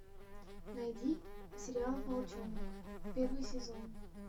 найди сериал волчонок первый сезон